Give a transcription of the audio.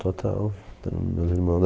Total. Então, meus irmão